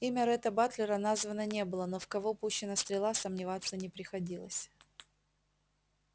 имя ретта батлера названо не было но в кого пущена стрела сомневаться не приходилось